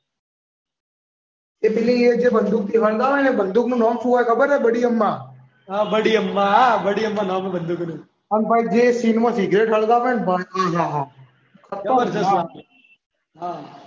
એ પેલી જે બંદૂક હળગાવે ને એ બંદૂક નું નામ શું હોય ખબર છે બડી અમ્મા. હા બડી અમ્મા નામ છે બંદૂકનું. અને ભાઈ જે સીનમા સિગરેટ સળગાવે ને ભાઈ ખતરનાક.